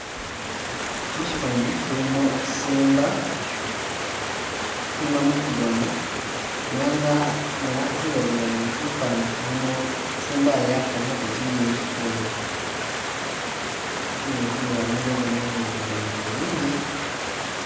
Musyifani kilimo simba, simba mukigoona nenga nga nasile bulayi kifani kilimo simba yi yakalikako kigele kidwela, kigele kidwela nenga iboneka uduya uti ili mubulumi